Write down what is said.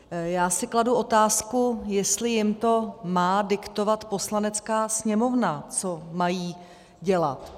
Já si kladu otázku, jestli jim to má diktovat Poslanecká sněmovna, co mají dělat.